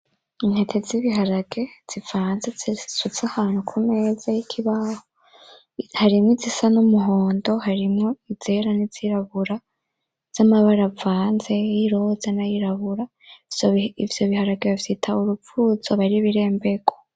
Intete z'ibiharage zivanze ziri ahantu kumeza yikibaho harimo numuhondo haimwo izera nizirabura zamara yiroza avanze ayera n'ayirabura, ivyo biharage bavyitwa urufuzo aba ari ibiremberwa.